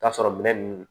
Taa sɔrɔ minɛn nunnu